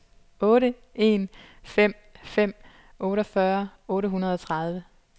otte en fem fem otteogfyrre otte hundrede og tredive